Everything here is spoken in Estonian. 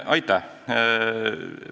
Aitäh!